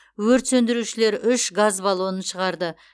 өрт сөндірушілер үш газ баллонын шығарды